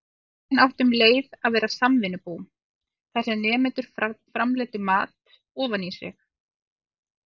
Skólinn átti um leið að vera samvinnubú, þar sem nemendur framleiddu mat ofan í sig.